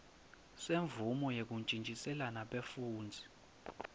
semvumo yekuntjintjiselana bafundzi